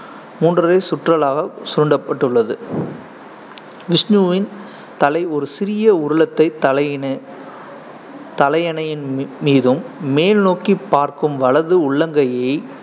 மூன்று சுற்றுகளாக சுருண்டப்பட்டுள்ளது விஷ்ணுவின் தலை ஒரு சிறிய உருளத்தை தலையிண~ தலையணையின் மீ~ மீதும், மேல்நோக்கிப் பார்க்கும் வலது உள்ளங்கையை